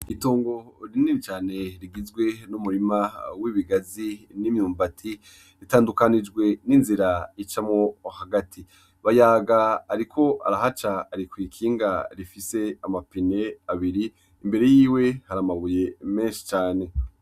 Itongo rinini cane rigizwe n'umurima n'imyumbati, ritandukanijwe n'inzira icamwo hagati. Bayaga ariko arahaca ari kw'ikinga rifise amapine abiri, imbere yiwe hari amabuye menshi cane.